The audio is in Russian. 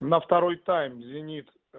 на второй тайм зенит